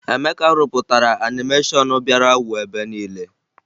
Emeka rụpụtara anịmeshọn bịara wuo ebe niile